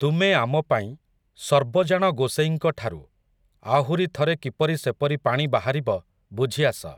ତୁମେ ଆମପାଇଁ, ସର୍ବଜାଣ ଗୋସେଇଁଙ୍କଠାରୁ, ଆହୁରି ଥରେ କିପରି ସେପରି ପାଣି ବାହାରିବ, ବୁଝିଆସ ।